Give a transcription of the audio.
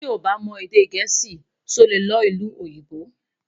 tí o bá mọ èdè gèésì sọ, ọ lẹ ló ìlú òyìnbó